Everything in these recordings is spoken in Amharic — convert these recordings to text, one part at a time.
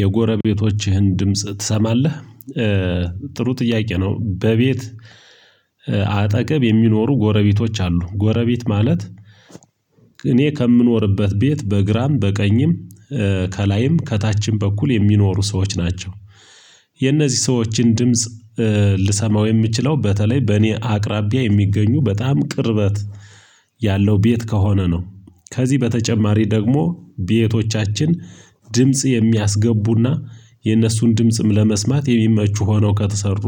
የጎረቤቶችህን ድምጽ ትሰማለህ? ጥሩ ጥያቄ ነው። በቤት አጠገብ የሚኖሩ ጎረቤቶች አሉ ጎረቤት ማለት እኔ ከምኖርበት ቤት በግራም በቀኝም ከላይም ከታችም በኩል የሚኖሩ ሰዎች ናቸው። የነዚህ ሰዎችን ድምጽ ልሰማው የምችለው በተለይ በእኔ አቅራቢያ የሚገኙ በጣም ቅርበት ያለው ቤት ከሆነ ነው። ከዚህ በተጨማሪ ደግሞ ቤቶቻችን ድምጽ የሚያስገቡና የኦነሱን ድምጽም ለመስማት የሚመቹ ሆነው ከተሰሩ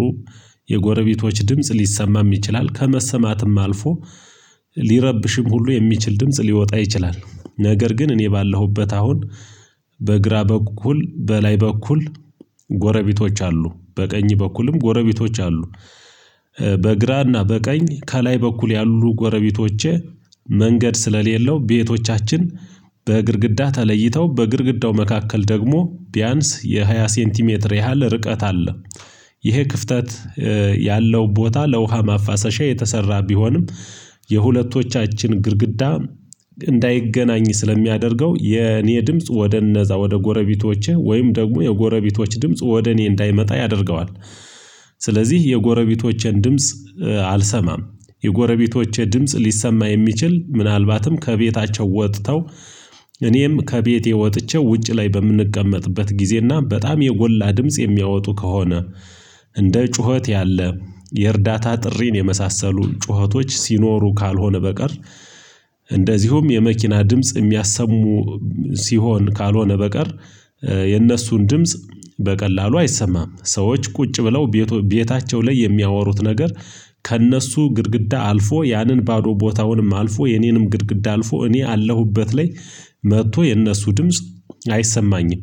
የጎረቤቶች ድምጽ ሊሰማም ይችላል ከመሰማትም አልፎ ሊረብሽም ሁሉ የሚችል ድምጽ ሊወጣ ይችላል። ነገር ግን እኔ ባለሁበት አሁን በግራ በኩል በላይ በኩል ጎረቤቶች አሉ በቀኝ በኩልም ጎረቤቶች አሉ። በግራና በቀኝ ከላይ በኩል ያሉ ጎረቤቶቼ መንገድ ስለሌለው ቤቶቻችን በግድግዳ ተለይተው በግድግዳው መካከል ደግሞ ቢያንስ የሃያ ሴንቲሜትር ያህል ርቀት አለ። ይሄ ክፍተት ያለው ቦታ ለውሃ ማፋሰሻ የተሰራ ቢሆንም የሁለቶቻችን ግድግዳ እንዳይገናኝ ስለሚያደርገው የኔ ድምጽ ወደ እነዛ ወደ ጎረቤቶቼ ወይም ደግሞ የጎረቤቶች ድምጽ ወደ እኔ እንዳይመጣ ያደርገዋል። ስለዚህ የጎረቤቶቼን ድምጽ አልሰማም የጎረቤቶቼ ድምጽ ሊሰማ የሚችል ምናልባትም ከቤታቸው ወጥተው እኔም ከቤቴ ወጥቼው ውጭ ላይ በምንቀመጥበት ጊዜና በጣም የጎላ ድምጽ የሚያወጡ ከሆነ እንደ ጩኸት ያለ የእርዳታ ጥሪን የመሳሰሉ ጩኸቶች ሲኖሩ ካልሆነ በቀር እንደዚሁም የመኪና ድምጽ የሚያሰሙ ሲሆን ካልሆነ በቀር የነሱን ድምጽ በቀላሉ አይሰማም። ሰዎች ቁጭ ብለው ቤቶ ቤታቸው ላይ የሚያወሩት ነገር ከእነሱ ግድግዳ አልፎ ያንን ባዶ ቦታውንም አልፎ የኔንም ግድግዳ አልፎ እኔ አለሁበት ላይ መጥቶ የእነሱ ድምጽ አይሰማኝም።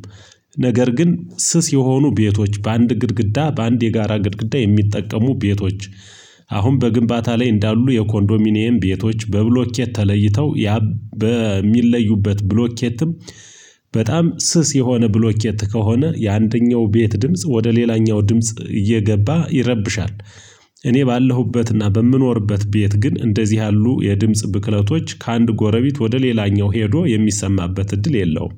ነገር ግን ስስ የሆኑ ቤቶች በአንድ ግድግዳ በአንድ የጋራ ግድግዳ የሚጠቀሙ ቤቶች አሁን በግንባታ ላይ እንዳሉ የኮንዶሚኒየም ቤቶች በብሎኬት ተለይተው ያብ በሚለዩበት ብሎኬትም በጣም ስስ የሆነ ብሎኬት ከሆነ የአንደኛው ቤት ድምጽ ወደ ሌላኛው ድምጽ እየገባ ይረብሻል። እኔ ባለሁበትና በምኖርበት ቤት ግን እንደዚህ ያሉ የድምጽ ብክለቶች ከአንድ ጎረቤት ወደ ሌላኛው ሄዶ የሚሰማበት እድል የለውም።